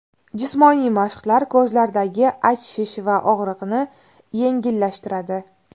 Jismoniy mashqlar ko‘zlardagi achishish va og‘riqni yengillashtiradi.